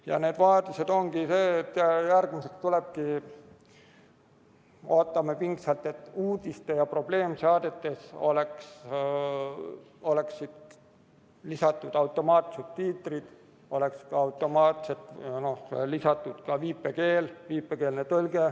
Ja nende vajaduste ongi see, mis järgmiseks tuleb: ootame pingsalt, et uudistes ja probleemsaadetes oleksid lisatud automaatsubtiitrid, oleks automaatselt lisatud ka viipekeel, viipekeelne tõlge.